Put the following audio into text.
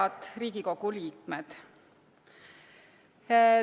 Head Riigikogu liikmed!